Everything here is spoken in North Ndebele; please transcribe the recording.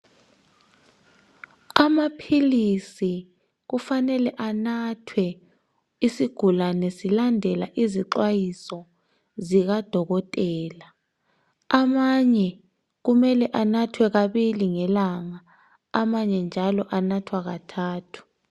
Amaphilisi kufanele anathwe isigulane silandela izixwayiso zikadokotela. Amanye kumele anathwe kabili ngelanga, amanye njalo anathwa kathathu.